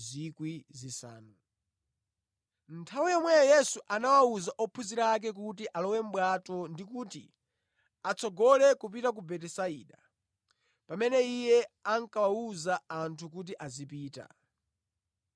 Nthawi yomweyo Yesu anawuza ophunzira ake kuti alowe mʼbwato ndi kuti atsogole kupita ku Betisaida, pamene Iye ankawuza anthu kuti azipita.